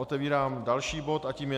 Otevírám další bod a tím je